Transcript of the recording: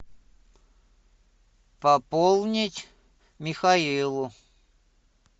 пополнить михаилу